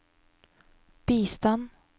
bistand